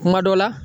Kuma dɔ la